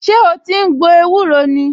Ṣé o ti ń gbo ewúro ni?